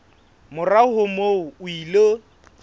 morao ho moo o ile